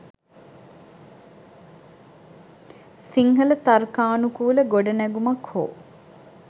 සිංහල තර්කානුකූල ගොඩනැගුමක් හෝ